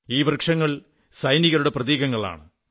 ഈ വൃക്ഷങ്ങൾ സൈനികരുടെ പ്രതീകങ്ങളാണ്